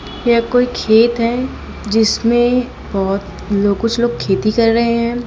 यह कोई खेत है जिसमें बहुत लोग कुछ लोग खेती कर रहे हैं।